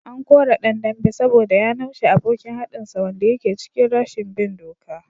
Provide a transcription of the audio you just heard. An kore dan dambe saboda ya naushe abokin haɗinsa wanda yake cikin rashin bin doka